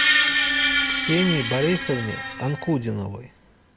ксении борисовне анкудиновой